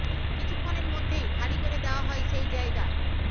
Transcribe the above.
কিছুক্ষণের মধ্যেই খালি করে দেওয়া হয় সেই জায়গা